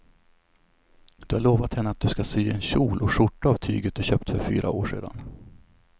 Du har lovat henne att du ska sy en kjol och skjorta av tyget du köpte för fyra år sedan.